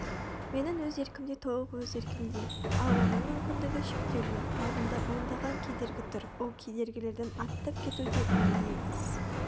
менің өз еркімде толық өз еркімде ал оның мүмкіндігі шектеулі алдында ондаған кедергі тұр ол кедергілерден аттап кету де оңай емес